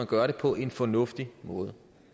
gøres på en fornuftig måde